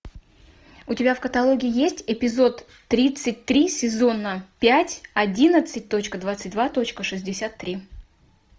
у тебя в каталоге есть эпизод тридцать три сезона пять одиннадцать точка двадцать два точка шестьдесят три